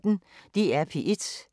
DR P1